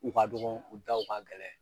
U ka dɔgɔn u da u ka gɛlɛn